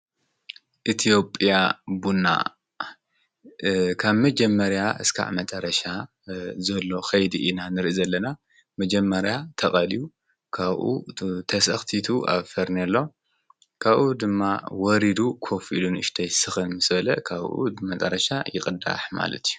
ኢትዮጵያ ቡና ካብ መጀመርያ እስካዕ መጨረሻ ዘሎ ከይዲ ኢና ንርኢ ዘለና መጀመርያ ተቀልዩ ካብኡ ተሰክቲቱ አብ ፈርኔሎ ካብኡ ድማ ወሪዱ ኮፍ ኢሉ ንእሽተይ ስክን ምስ በለ ካብኡ መጨረሻ ይቅዳሕ ማለት እዩ ።